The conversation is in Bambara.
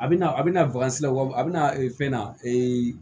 A bɛna a bina wa a bɛna fɛn na